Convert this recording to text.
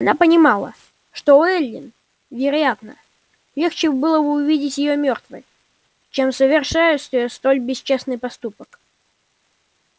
она понимала что эллин вероятно легче было бы увидеть её мёртвой чем совершающей столь бесчестный поступок